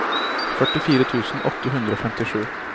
førtifire tusen åtte hundre og femtisju